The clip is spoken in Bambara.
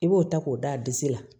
I b'o ta k'o d'a disi la